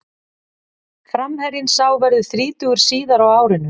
Framherjinn sá verður þrítugur síðar á árinu.